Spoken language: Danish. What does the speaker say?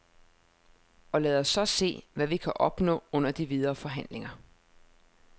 Og lad os så se, hvad vi kan opnå under de videre forhandlinger.